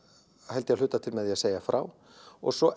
held ég að hluta til með því að segja frá og svo